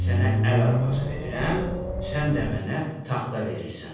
Mən sənə əl arabası verirəm, sən də mənə taxta verirsən.